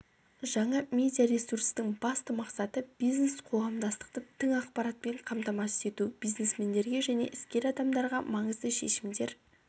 жаңа медиа ресурстың басты мақсаты бизнес-қоғамдастықты тың ақпаратпен қамтамасыз ету бизнесмендерге және іскер адамдарға маңызды шешімдер